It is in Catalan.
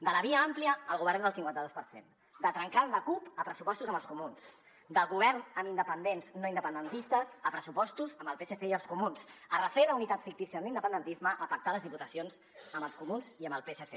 de la via àmplia al govern del cinquanta dos per cent de trencar amb la cup a pressupostos amb els comuns del govern amb independents no independentistes a pressupostos amb el psc i els comuns de refer la unitat fictícia de l’independentisme a pactar les diputacions amb els comuns i amb el psc